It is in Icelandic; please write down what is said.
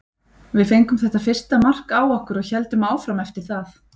Við fengum þetta fyrsta mark á okkur og héldum áfram eftir það.